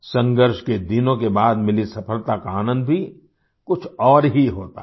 संघर्ष के दिनों के बाद मिली सफलता का आनंद भी कुछ और ही होता है